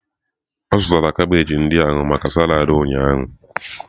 Ọ zụtara kabeeji ndị ahụ maka salad ụnyaahụ.